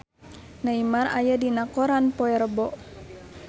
Neymar aya dina koran poe Rebo